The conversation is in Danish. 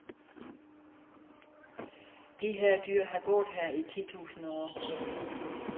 De her dyr har gået her i titusinde år.